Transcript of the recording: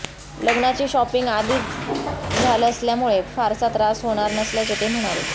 लग्नाची शॉपिंग आधीच झाल असल्यामुळे फारसा त्रास होणार नसल्याचे ते म्हणाले